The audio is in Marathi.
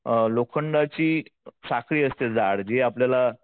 अ लोखंडाची साखळी असते जाड जी आपल्याला